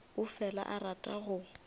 o fela a rata go